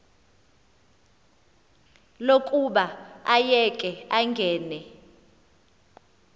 lokuba ayeke angene